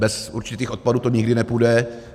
Bez určitých odpadů to nikdy nepůjde.